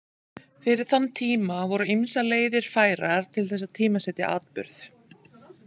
Fyrir þann tíma voru ýmsar leiðir færar til þess að tímasetja atburð.